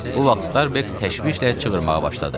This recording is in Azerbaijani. Bu vaxt Starbek təşvişlə çığırmağa başladı.